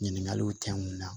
Ɲininkaliw tɛ n kunna